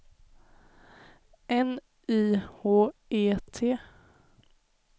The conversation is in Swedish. N Y H E T